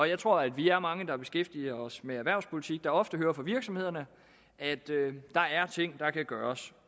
jeg tror at vi er mange der beskæftiger os med erhvervspolitik der ofte hører fra virksomhederne at der er ting der kan gøres